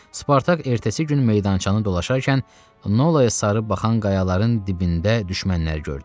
Spartak ertəsi gün meydançanı dolaşarkən Nolaya sarı baxan qayaların dibində düşmənləri gördü.